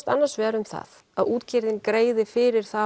annars vegar um það að útgerðin greiði fyrir